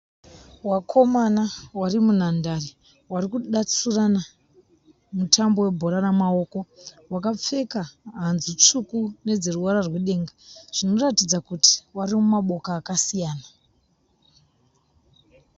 Wakomana vari munhandare vari kudatsurana mutambo webhora remaoko. Vakapfeka hanzvu tsvuku nedzeruvara rwedenga. Zvinoratidza kuti vari mumaboka akasiyana.